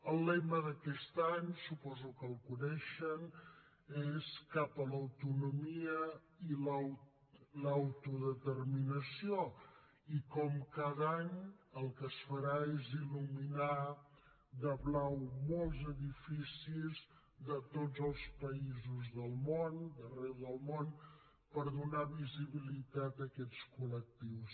el lema d’aquest any suposo que el coneixen és cap a l’autonomia i l’autodeterminació i com cada any el que es farà és illuminar de blau molts edificis d’arreu del món per donar visibilitat a aquests col·lectius